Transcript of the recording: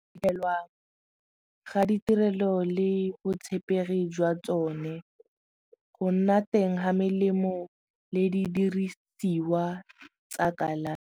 ga ditirelo le botshepegi jwa tsone go nna teng ga melemo le di dirisiwa tsa kalafi.